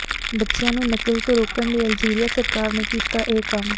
ਬੱਚਿਆਂ ਨੂੰ ਨਕਲ ਤੋਂ ਰੋਕਣ ਲਈ ਅਲਜੀਰੀਆ ਸਰਕਾਰ ਨੇ ਕੀਤਾ ਇਹ ਕੰਮ